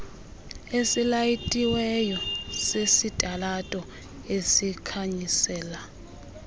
esilayitiweyo sesitalato esikhanyisela